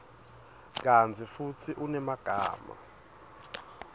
kantsi futsi unemagama